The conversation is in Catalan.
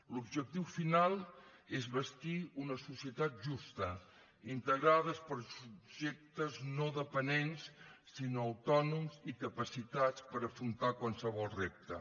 l’objectiu final és bastir una societat justa integrada per subjectes no dependents sinó autònoms i capacitats per afrontar qualsevol repte